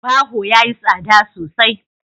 Baho yayi tsada sosai.